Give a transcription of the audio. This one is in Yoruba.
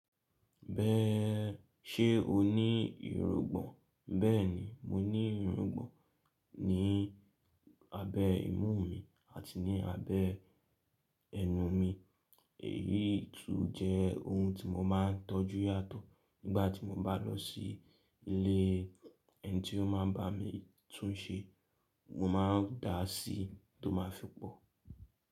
Bẹ́, ṣe o ní ìrungbọ̀n? Bẹ́ẹ̀ni, mo ní ìrungbọ̀n ní abẹ́ imú mi àti ní abẹ́ ẹnu mi. Èyí tún jẹ́ ohun tí mo má n tọ́jú yàtọ̀ nígbàtí mo bá lọ sí ilé ẹni tí ó máa n bá mi túnse. Mo ma n dáa sí tó ma fi pọ̀.